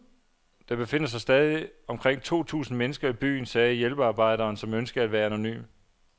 Der befinder sig stadig omkring to tusind mennesker i byen, sagde hjælpearbejderen, som ønskede at være anonym.